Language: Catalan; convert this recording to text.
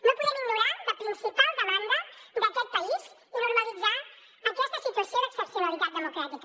no podem ignorar la principal demanda d’aquest país i normalitzar aquesta situació d’excepcionalitat democràtica